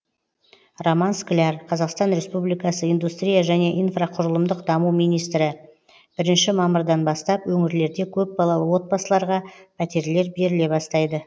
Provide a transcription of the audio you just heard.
роман скляр қазақстан республикасы индустрия және инфрақұрылымдық даму министрі бірінші мамырдан бастап өңірлерде көпбалалы отбасыларға пәтерлер беріле бастайды